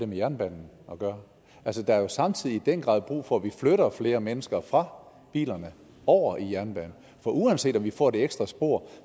med jernbanen at gøre der er jo samtidig i den grad brug for at vi flytter flere mennesker fra bilerne og over i jernbanen for uanset om vi får det ekstra spor